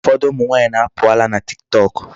Ụfọdụ ụmụ nwaanyị na-apụ ala na Tiktok.